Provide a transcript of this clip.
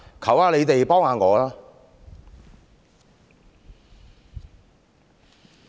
求你們幫我一下。